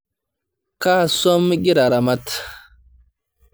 Kaa swam igira aramat?